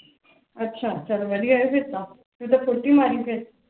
ਅੱਛਾ ਚੱਲ ਵਧੀਆਂ ਫਿਰ ਤਾ ਤੂੰ ਤਾ ਫੁਰਤੀ ਮਾਰੀ ਫਿਰ